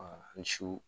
ni su